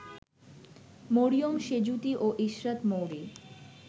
মরিয়ম সেঁজুতি ও ইশরাত মৌরি